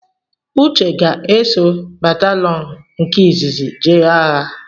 Uche ga-eso batalọn nke izizi jee agha